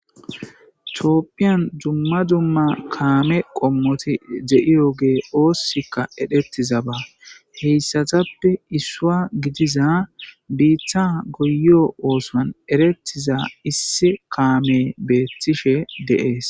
Cooppiyan jumma jumma kaame qommoti ze'iyo gee oossikka edhettiza ba heyssatappe issua gidiza biitha goyo oosan erettiza issi kaame beettishe deees.